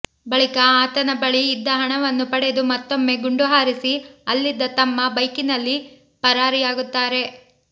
ಬಳಿಕ ಆತನ ಬಳಿ ಇದ್ದ ಹಣವನ್ನು ಪಡೆದು ಮತ್ತೊಮ್ಮೆ ಗುಂಡು ಹಾರಿಸಿ ಅಲ್ಲಿದ್ದ ತಮ್ಮ ಬೈಕಿನಲ್ಲಿ ಪರಾರಿಯಾಗುತ್ತಾರೆ